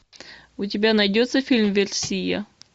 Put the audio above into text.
у тебя найдется фильм версия